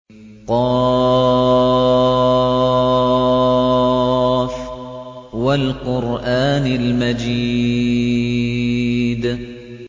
ق ۚ وَالْقُرْآنِ الْمَجِيدِ